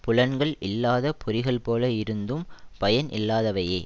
புலன்கள் இல்லாத பொறிகள்போல இருந்தும் பயன் இல்லாதவையே